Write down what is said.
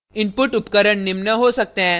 * input उपकरण निम्न हो सकते हैं